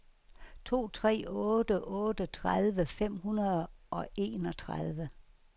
to tre otte otte tredive fem hundrede og enogtredive